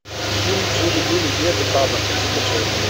фильм жили были дед и баба закачай